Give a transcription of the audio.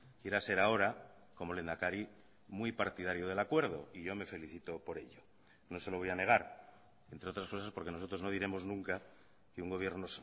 quiera ser ahora como lehendakari muy partidario del acuerdo y yo me felicito por ello no se lo voy a negar entre otras cosas porque nosotros no diremos nunca que un gobierno